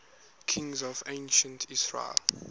kings of ancient israel